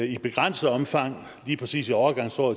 i begrænset omfang lige præcis i overgangsåret